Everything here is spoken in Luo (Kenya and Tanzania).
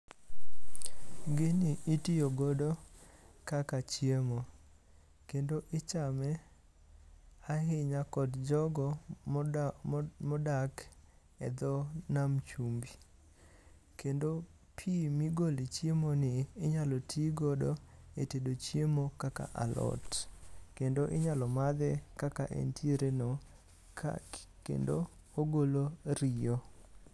Gini itiyo godo kaka chiemo kendo ichame ahinya kod jogo modak e dho nam chumbi kendo pii migole chiemo ni inyalo tii godo e tedo alot, kendo inyalo madhe kaka entiere no kendo ogolo riyo.